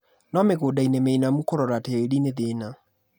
no mĩgũdainĩ mĩinamu kũrora tĩri nĩthĩna.